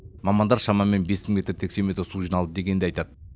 мамандар шамамен бес мың метр текше метр су жиналды дегенді айтады